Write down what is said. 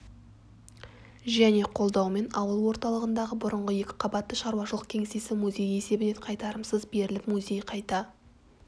және қолдауымен ауыл орталығындағы бұрынғы екі қабатты шаруашылық кеңсесі музей есебіне қайтарымсыз беріліп музей қайта